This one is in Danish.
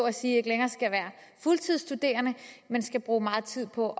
at sige ikke længere skal være fuldtidsstuderende men skal bruge meget tid på